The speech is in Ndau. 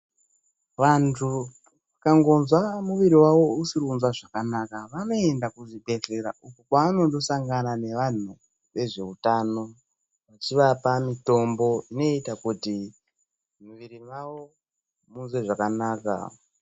Vandu vakangonzwa mumwiri wavo usiri kunzwa zvakanaka vanoenda kuzvibhedhlera uko kwavanondosangana nevandu vezve hutano achivapa mitombo inoita kuti muviri wavo munzwe zvakanaka .